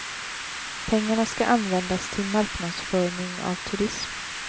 Pengarna ska användas till marknadsföring av turism.